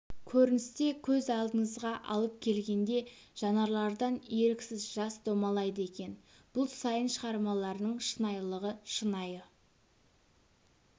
көріністе көз алдыңызға алып келгенде жанарлардан еріксіз жас домалайды екен бұл сайын шығармаларының шынайылығы шынайы